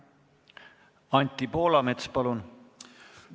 Anti Poolamets, palun!